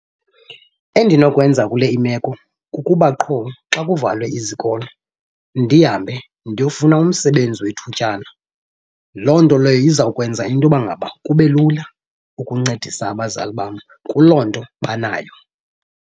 Endinokwenza kule imeko kukuba qho xa kuvalwe izikolo ndihambe ndiyofuna umsebenzi wethutyana. Loo nto leyo izawukwenza into yoba ngaba kube lula ukuncedisa abazali bam kuloo nto banayo.